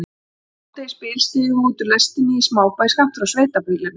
Um hádegisbil stigum við út úr lestinni í smábæ skammt frá sveitabýlinu.